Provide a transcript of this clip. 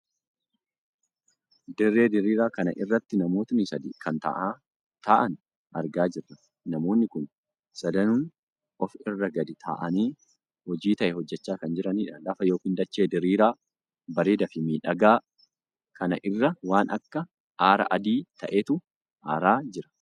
Dirree diriiraa kana irratti namoota sadii kan taa'an argaa jirra. namoonni kun sadanuun of irra gadi taa'aanii hojii tahe hojjechaa kan jiranidha. lafa ykn dachee diriiraa bareedaa fi miidhagaa kan irra waan akka aara adii ta'eetu aaraa jira.